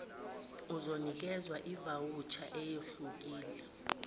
uzonikwezwa ivawusha eyehlukile